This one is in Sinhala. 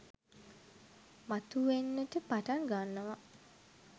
මතු වෙන්නට පටන් ගන්නවා.